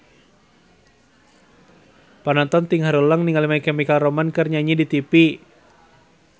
Panonton ting haruleng ningali My Chemical Romance keur nyanyi di tipi